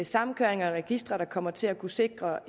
samkøringer af registre der kommer til at kunne sikre